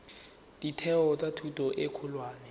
ditheo tsa thuto e kgolwane